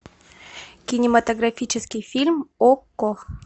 кинематографический фильм окко